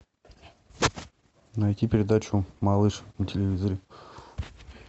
найти передачу малыш на телевизоре